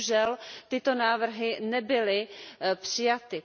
Bohužel tyto návrhy nebyly přijaty.